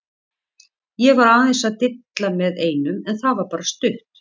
Ég var aðeins að dilla með einum en það var bara stutt.